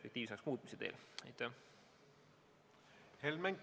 Aitäh, austatud eesistuja!